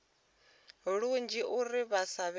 lunzhi uri vha sa vhe